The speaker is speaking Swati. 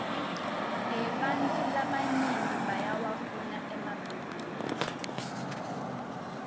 ebantfu labanyenti bayawafuna emabhninisi